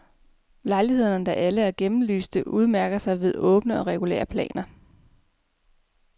Lejlighederne, der alle er gennemlyste, udmærker sig ved åbne og regulære planer.